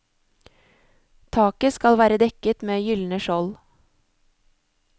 Taket skal være dekket med gyldne skjold.